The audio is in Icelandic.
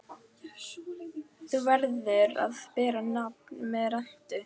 Þú verður að bera nafn með rentu.